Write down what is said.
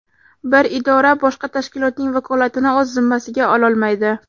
Bir idora boshqa tashkilotning vakolatini o‘z zimmasiga ololmaydi.